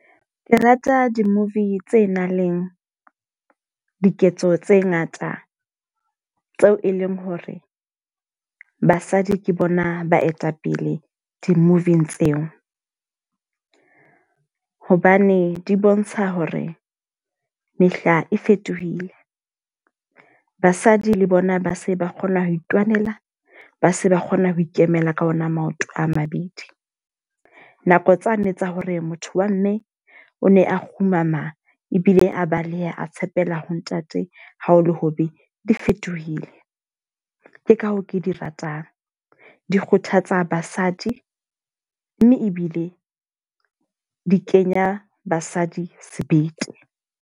Ke rata di-movie tse nang leng diketso tse ngata tseo e leng hore basadi ke bona baetapele di-movie-ng tseo. Hobane di bontsha hore mehla e fetohile, basadi le bona ba se ba kgona ho itwanela. Ba se ba kgona ho ikemela ka ona maoto a mabedi. Nako tsane tsa hore motho wa mme o ne a kgumama ebile a baleha a tshepela ho ntate ha ho le hobe di fetohile. Ke ka hoo ke di ratang. Di kgothatsa basadi, mme ebile di kenya basadi sebete.